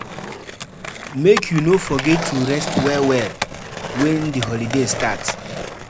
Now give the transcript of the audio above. Make you no forget to rest well-well wen di holiday start.